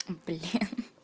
блин